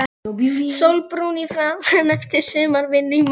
Sólbrúnn í framan eftir sumarvinnu í malbiki.